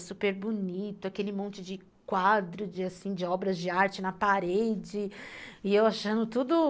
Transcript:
É super bonito, aquele monte de quadro, assim, de obras de arte na parede e eu achando tudo